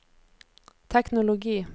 teknologi